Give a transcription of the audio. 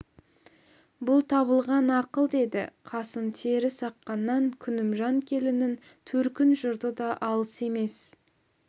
бұл табылған ақыл деді қасым терісаққаннан күнімжан келіннің төркін жұрты да алыс емес